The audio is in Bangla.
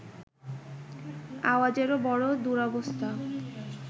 আওয়াজেরও বড় দুরবস্থা